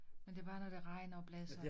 Men det bare når det regner og blæser